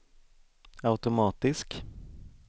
automatisk